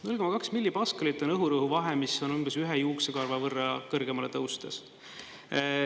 0,2 millipaskalit on õhurõhu vahe, mis on umbes ühe juuksekarva võrra kõrgemale tõustes.